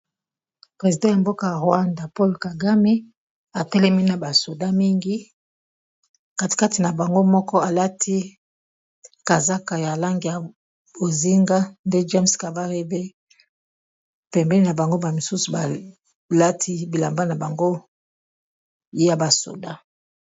President ya mboka rwanda paul kagame atelemi na ba soldats mingi, katikati na bango moko alati kazaka ya langi ya bozinga nde james kabarebe pembeni na bango, bamisusu balati bilamba na bango ya ba soldat.